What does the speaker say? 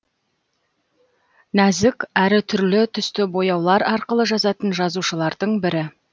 нәзік әрі түрлі түсті бояулар арқылы жазатын жазушылардың бірі